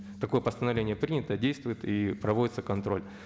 такое постановление принято действует и проводится контроль